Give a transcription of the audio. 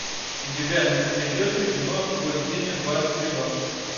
у тебя найдется кино бой с тенью два реванш